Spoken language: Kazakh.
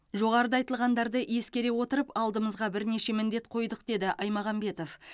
жоғарыда айтылғандарды ескере отырып алдымызға бірнеше міндет қойдық деді ймағамбетов